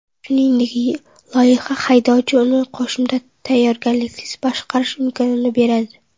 Shuningdek, loyiha haydovchi uni qo‘shimcha tayyorgarliksiz boshqarish imkonini beradi.